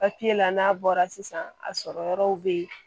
papiye la n'a bɔra sisan a sɔrɔ yɔrɔw be yen